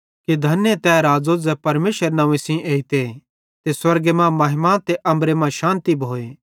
धने तै राज़ो ज़ै परमेशरे नव्वें सेइं एइते ते स्वर्गे मां महिमा ते अम्बरे मां शान्ति भोए